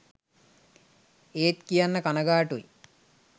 ඒත් කියන්න කණගාටුයි